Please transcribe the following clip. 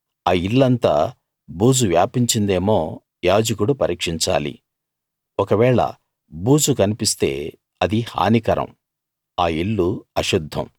ఆ ఇల్లంతా బూజు వ్యాపించిందేమో యాజకుడు పరీక్షించాలి ఒకవేళ బూజు కన్పిస్తే అది హానికరం ఆ ఇల్లు అశుద్ధం